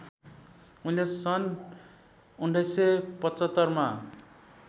उनले सन् १९७५ मा